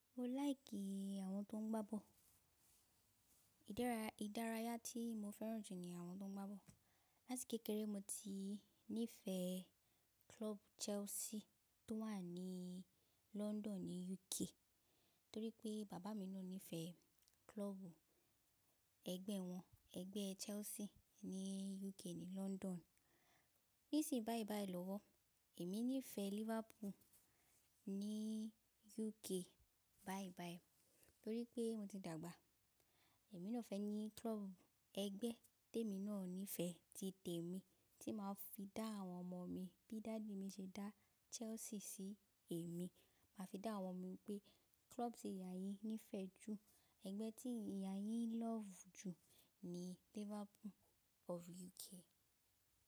Mo like àwọn tó ń gbá ball. Ìdárayá tí mo fẹ́ràn jù ni àwọn tó ń gbá ball. Láti kékeré mo ti nífẹ̀ẹ́ club Chelsea tó wà ní London ní UK, torí pé bàbá mi náà nífẹ̀ẹ́ club ẹgbẹ́ wọn, ẹgbẹ́ Chelsea ní UK ní London. Nsiinyi báyiì báyiì lọ́wọ́, èmi nífẹ̀ẹ́ Liverpool ní UK báyii báyiiì torí pé mo ti dàgbà. Èmi náà fẹ́ ní club ẹgbẹ́ tèmi náà nífẹ̀ẹ́ ti tèmi tí màá fi dá àwọn ọmọ mi bí dádi mi ṣe dá Chelsea sí èmi. Màá fi dá àwọn mi pé club tí ìyá yín nífẹ̀ẹ́ jù, ẹgbẹ́ tí ìyá yín love jù ni Liverpool of UK.